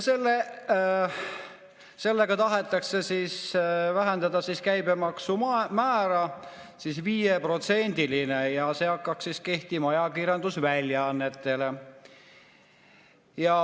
Sellega tahetakse vähendada käibemaksumäära 5%‑le ja see hakkaks kehtima ajakirjandusväljaannetele.